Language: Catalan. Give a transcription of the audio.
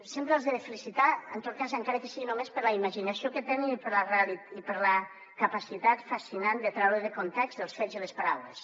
sempre els he de felicitar en tot cas encara que sigui només per la imaginació que tenen i per la capacitat fascinant de treure de context els fets i les paraules